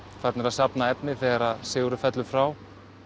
farnir að safna efni þegar Sigurður fellur frá